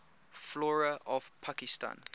flora of pakistan